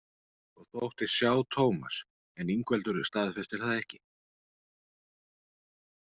Og þóttist sjá Tómas en Ingveldur staðfestir það ekki.